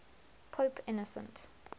pope innocent